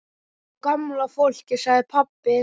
Sko gamla fólkið sagði pabbi.